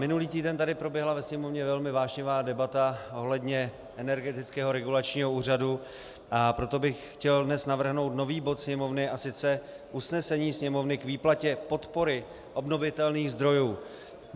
Minulý týden tady proběhla ve Sněmovně velmi vášnivá debata ohledně Energetického regulačního úřadu, a proto bych chtěl dnes navrhnout nový bod Sněmovny, a sice: Usnesení Sněmovny k výplatě podpory obnovitelných zdrojů.